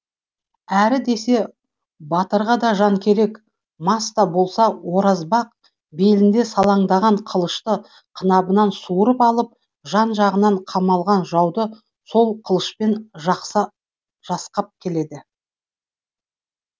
әрі десе батырға да жан керек мас та болса оразбақ белінде салаңдаған қылышты қынабынан суырып алып жан жағынан қамалаған жауды сол қылышпен жасқап келеді